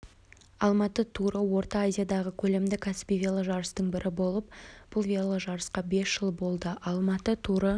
алматы туры орта азиядағы көлемді кәсіби веложарыстардың бірі жылы бұл веложарысқа бес жыл болды алматы туры